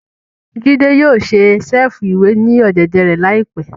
Jide yóò ṣe ṣẹ̀fù-iwe ni ọ̀dẹ̀dẹ̀ rẹ laipẹ